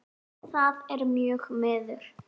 Það er mjög miður.